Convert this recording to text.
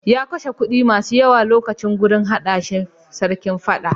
Ya kashe kuɗi masu yawa wurin naɗa shi Sarkin Fada.